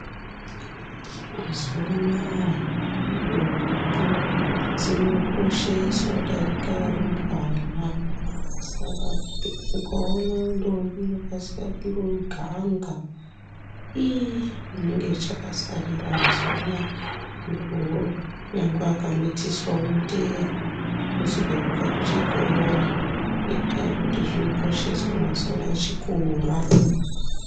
Mazuwa anaa ndombi dzinokosheswa kudarika arumbwana. Saka ukaona ndombi inokasira kuganga iii inenge ichakasarira mazuwa anaa nyangwe akamitiswa unoteerwa kuzi petuka kuchikora ngenyaya yekuti chinokosheswa mazuwa anaa chikora.